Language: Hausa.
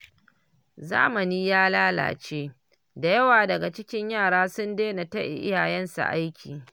Zamani ya lalace, da yawa daga cikin yara sun daina taya iyayensu aiki